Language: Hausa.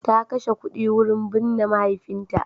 Ta kashe kuɗi wurin binne mahaifinta.